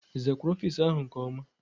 Ị zakwara ofiisi áhụ̀ nke ọma?